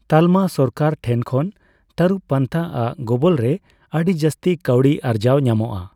ᱛᱟᱞᱢᱟ ᱥᱚᱨᱠᱟᱨ ᱴᱷᱮᱱ ᱠᱷᱚᱱ ᱛᱟᱨᱩᱵᱽ ᱯᱟᱱᱛᱷᱟ ᱟᱜ ᱜᱚᱵᱚᱞ ᱨᱮ ᱟᱰᱤ ᱡᱟᱥᱛᱤ ᱠᱟᱹᱣᱰᱤ ᱟᱨᱡᱟᱣ ᱧᱟᱢᱚᱜᱼᱟ ᱾